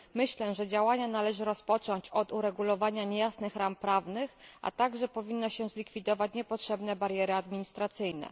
Myślę, że działania należy rozpocząć od uregulowania niejasnych ram prawnych, a także powinno się zlikwidować niepotrzebne bariery administracyjne.